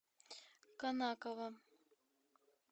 конаково